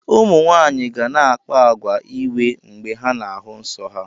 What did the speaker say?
ụmụ nwaanyị ga na-akpa àgwà iwe mgbe ha na-ahụ nsọ ha